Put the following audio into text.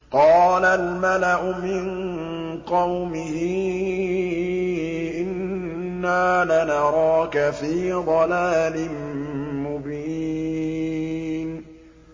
قَالَ الْمَلَأُ مِن قَوْمِهِ إِنَّا لَنَرَاكَ فِي ضَلَالٍ مُّبِينٍ